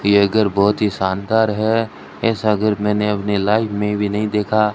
यह घर बहुत ही शानदार है ऐसा घर मैंने अपनी लाइफ में भी नहीं देखा।